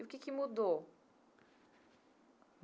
E o que que mudou?